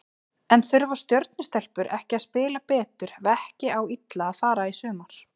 En þurfa Stjörnu stelpur ekki að spila betur ef ekki á illa fara í sumar?